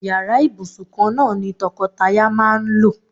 Yàrá ìbùsùn kan náà ni to̩ko̩taya máa ń lò.